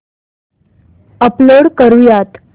upload करुयात